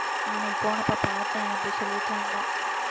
அன்னைக்கு போனப்ப பார்த்தேன் அப்படி சொல்லிட்டிருந்தா